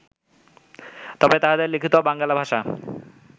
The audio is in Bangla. তবে তাঁহাদের লিখিত বাঙ্গালা ভাষা